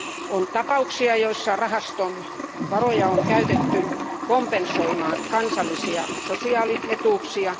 On tapauksia, joissa rahaston varoja on käytetty kompensoimaan kansallisia sosiaalietuuksia.